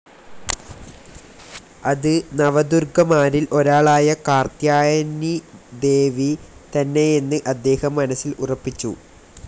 അത് നവദുർഗ്ഗമാരിൽ ഒരാളായ കാർത്യായനിദേവി തന്നെയെന്ന് അദ്ദേഹം മനസ്സിൽ ഉറപ്പിച്ചു.